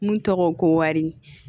Mun tɔgɔ ko wari